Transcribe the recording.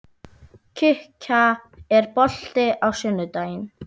Kikka, er bolti á sunnudaginn?